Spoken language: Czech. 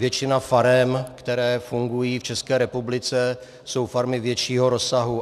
Většina farem, které fungují v České republice, jsou farmy většího rozsahu.